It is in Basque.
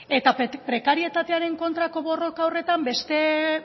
eta prekarietatearen kontrako borroka horretan beste